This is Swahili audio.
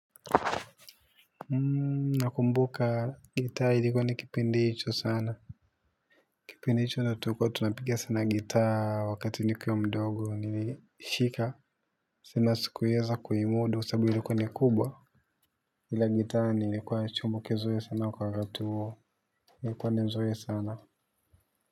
Nakumbuka gitaa ilikuwa ni kipindi hicho sana. Kipindi hicho ndo tulikuwa tunapiga sana gitaa wakati nikiwa mdogo nilishika. Sema sikuweza kuimudu sababu ilikuwa ni kubwa. Kila gitaa nilikuwa chombo kizuri sana kwa wakati huo. Ilikuwa ni zuri sana.